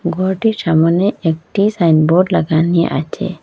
ঘরটির সামোনে একটি সাইনবোর্ড লাগানি আছে।